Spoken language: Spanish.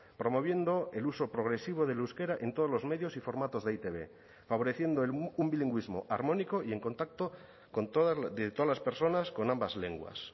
promoviendo el uso progresivo del euskera en todos los medios y formatos de e i te be favoreciendo un bilingüismo armónico y en contacto de todas las personas con ambas lenguas